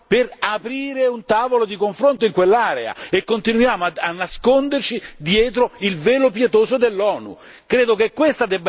come Europa per aprire un tavolo di confronto in quell'area e continuiamo a nasconderci dietro il velo pietoso dell'ONU!